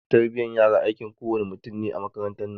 Tarbiyan yara aikin kowa ne mutum ne a makarantan nan